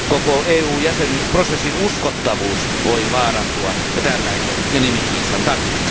Koko EU jäsenyysprosessin uskottavuus voi vaarantua tällaisen nimikiistan takia.